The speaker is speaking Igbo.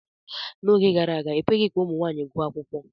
N'oge gara aga, ekweghị ka ụmụ nwaanyị gụọ akwụkwọ.